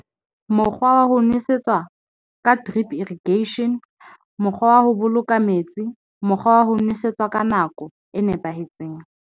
Mokgwa wa ho nwesetswa ka drip irrigation, mokgwa wa ho boloka metsi mokgwa wa ho nwesetswa ka nako e nepahetseng.